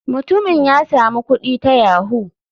Mutumin ya samu kudi ta yahoo.